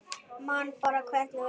Man bara hvernig við hlógum.